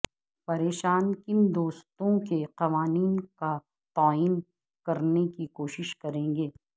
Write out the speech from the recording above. پریشان کن دوستوں کے قوانین کا تعین کرنے کی کوشش کریں گے